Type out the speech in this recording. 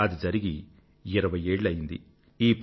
అది జరిగి ఇరవై ఏళ్ళు అయ్యింది